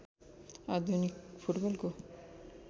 आधुनिक फुटबलको